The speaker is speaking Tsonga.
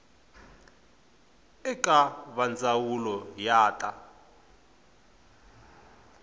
eka va ndzawulo ya ta